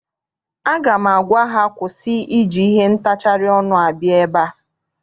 Aga m agwa ha kwụsị iji ihe ntacharị ọnụ abịa ebe!